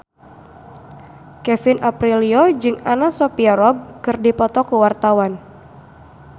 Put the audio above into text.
Kevin Aprilio jeung Anna Sophia Robb keur dipoto ku wartawan